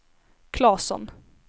Klasson